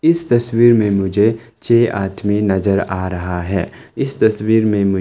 इस तस्वीर में मुझे छे आदमी नजर आ रहा है इस तस्वीर में--